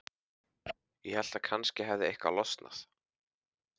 Ég hélt að kannski hefði eitthvað losnað.